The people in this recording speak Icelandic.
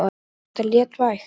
Finnst þér það léttvægt?